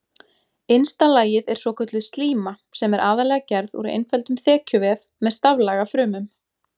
Innsta lagið er svokölluð slíma sem er aðallega gerð úr einföldum þekjuvef með staflaga frumum.